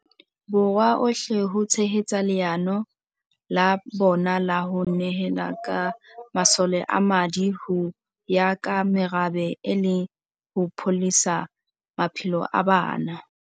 Borwa ohle ho tshehetsa leano la bona la ho ne hela ka masole a madi ho ya ka merabe e le ho pholosa maphelo a bana.